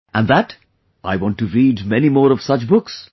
And that I want to read many more of such books